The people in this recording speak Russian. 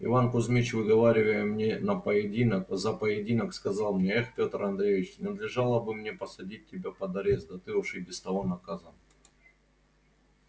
иван кузмич выговаривая мне на поединок за поединок сказал мне эх пётр андреич надлежало бы мне посадить тебя под арест да ты уж и без того наказан